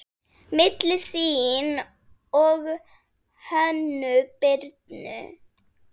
Milli þín og Hönnu Birnu?